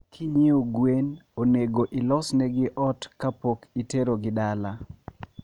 Kinyie gwen onego ilosnegi ot kapokiterogi dala